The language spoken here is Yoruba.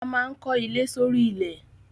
A maa n ko ile s'ori ilẹ